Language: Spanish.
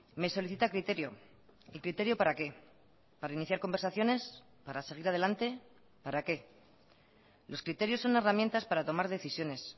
me solicita criterio el criterio para qué para iniciar conversaciones para seguir adelante para qué los criterios son herramientas para tomar decisiones